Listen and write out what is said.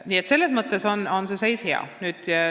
Nii et selles mõttes on seis hea.